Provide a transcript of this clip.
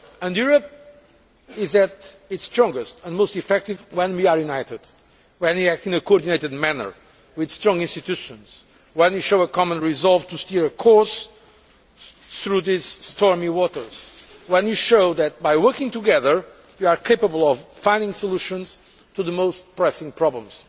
Europe is at its strongest and most effective when we are united, when we act in a coordinated manner with strong institutions, when we show a common resolve to steer a course through these stormy waters, and when we show that, by working together, we are capable of finding solutions to the most pressing problems.